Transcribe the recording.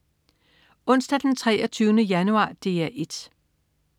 Onsdag den 23. januar - DR 1: